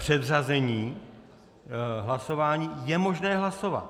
Předřazení hlasování je možné hlasovat.